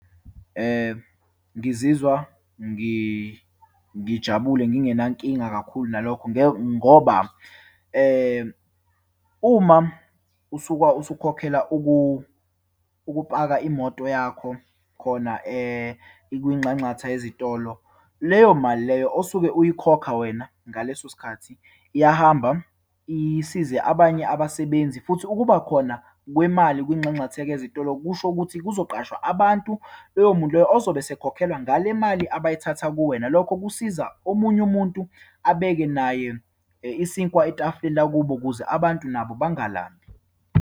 Ngizizwa ngijabule, ngingenankinga kakhulu nalokho. Nge ngoba, uma usuka usukhokhela ukupaka imoto yakho khona kwinxanxatha yezitolo, leyo mali leyo osuke uyikhokha wena ngaleso sikhathi iyahamba, isize abanye abasebenzi. Futhi ukuba khona kwemali kwinxanxatheka yezitolo kusho ukuthi kuzoqoshwa abantu, loyo muntu loyo ozobe esekhokhelwa ngale mali abayithatha kuwena. Lokho kusiza omunye umuntu abeke naye isinkwa etafuleni lakubo, ukuze abantu nabo bangalambi.